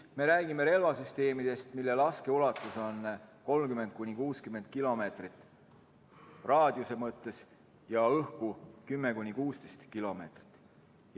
Me räägime relvasüsteemidest, mille laskeulatus on 30–60 kilomeetrit raadiuse mõttes ja õhus 10–16 kilomeetrit.